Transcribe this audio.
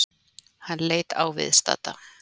Hann leit á viðstadda.